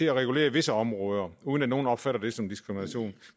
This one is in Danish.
at regulere visse områder uden at nogen opfatter det som diskrimination